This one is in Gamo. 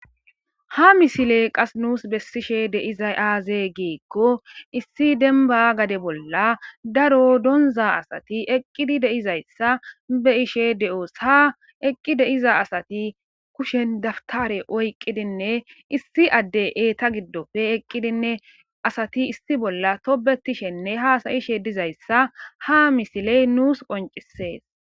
Ha misiley qas nuus bessishe de'iza aaze giikko issi demba gade bolla daro donza asati eqqidi de'izayssa be'ishe de'os ha eqqi deiza asati kushen daftare oyqqidinne issi adde eeta giddofe eqqidinne asati issi bolla tobbetishenne haasa'ishe dizayssa ha misiley nuus qonccisees.